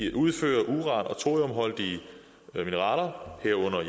udføre uran og thoriumholdige mineraler herunder